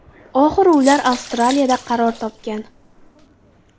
Oxiri ular Avstraliyada qaror topgan.